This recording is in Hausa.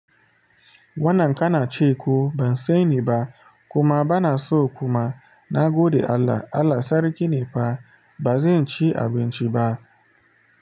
Wannan kana ce ko ban saniba kuma bana so kuma na gode Allah. Allah sarki ne fa ba zan ci abinci ba.